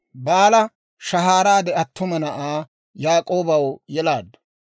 Baala shahaaraade attuma na'aa Yaak'oobaw yelaaddu.